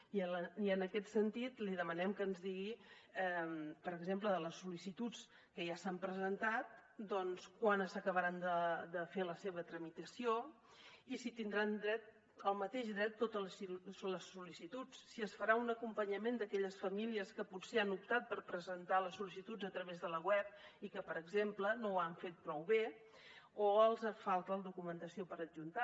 i en aquest sentit li demanem que ens digui per exemple de les sol·licituds que ja s’han presentat doncs quan s’acabarà de fer la seva tramitació i si hi tindran dret el mateix dret totes les sol·licituds si es farà un acompanyament d’aquelles famílies que potser han optat per presentar les sol·licituds a través de la web i que per exemple no ho han fet prou bé o els falta documentació per adjuntar